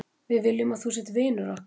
Við viljum að þú sért vinur okkar.